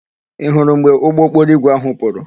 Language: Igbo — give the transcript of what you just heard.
Ị hụrụ mgbe ụgbọokporoigwe áhụ̀ pụrụ?